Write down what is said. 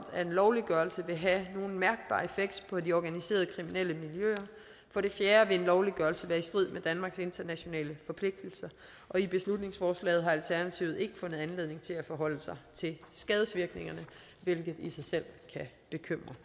at en lovliggørelse vil have nogen mærkbar effekt på de organiserede kriminelle miljøer for det fjerde vil en lovliggørelse være i strid med danmarks internationale forpligtelser og i beslutningsforslaget har alternativet ikke fundet anledning til at forholde sig til skadevirkningerne hvilket i sig selv kan bekymre